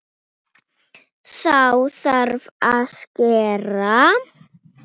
Næstum því of mikill.